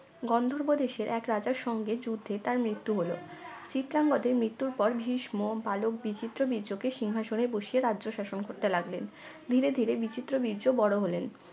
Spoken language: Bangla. গন্ধর্ভ দেশের এক রাজার সঙ্গে যুদ্ধ তার মৃত্যু হল চিত্রাঙ্গদের মৃত্যুর পর ভীষ্ম বালক বিচিত্র বীর্য কে সিংহাসনে বসিয়ে রাজ্য শাসন করতে লাগলেন ধীরে ধীরে বিচিত্র বীর্য বড় হলেন